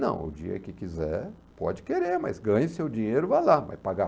Não, o dia que quiser, pode querer, mas ganhe seu dinheiro, vá lá, vai pagar.